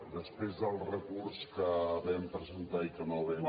després del recurs que vam presentar i que no vam